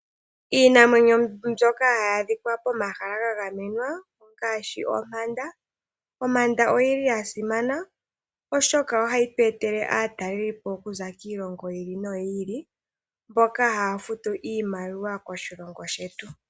Iinamwenyo mbyoka hayi adhika pomahala ga gamenwa ongaashi ompanda. Ompanda oyi li ya simana oshoka ohayi tu etele aatalelipo okuza kiilongo yi ili noyi ili mboka haya futu iimaliwa koshilongo shetu.